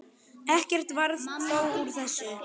Ekkert varð þó úr þessu.